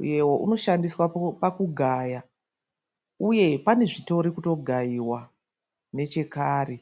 uyewo unoshandiswa pakugaya uye pane zvitorikutogaiwa nechekare.